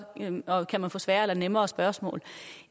eleven kan få sværere eller nemmere spørgsmål